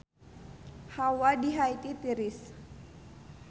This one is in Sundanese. Hawa di Haiti tiris